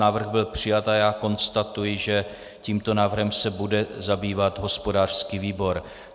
Návrh byl přijat a já konstatuji, že tímto návrhem se bude zabývat hospodářský výbor.